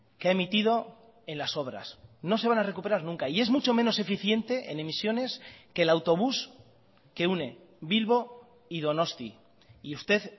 que ha emitido en las obras no se van a recuperar nunca y es mucho menos eficiente en emisiones que el autobús que une bilbo y donosti y usted